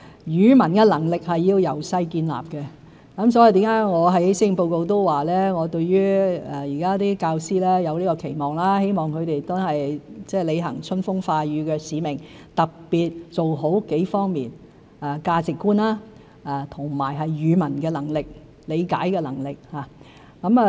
語文能力需要從小建立，所以我在施政報告中說，對教師有期望，希望他們履行春風化雨的使命，特別做好幾方面的工作：價值觀、語文能力和理解能力的教育。